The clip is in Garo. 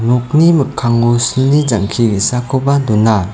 nokni mikkango silni jang·ki ge·sakoba dona.